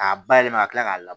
K'a bayɛlɛma ka kila k'a la